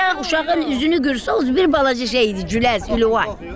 Sən uşağın üzünü görsən, özün bir balaca şey idi, güləz, Ülvi.